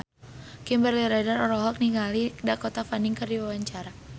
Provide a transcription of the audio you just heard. Kimberly Ryder olohok ningali Dakota Fanning keur diwawancara